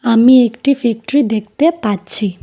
আমি একটি ফ্যাক্টরি দেখতে পাচ্ছি।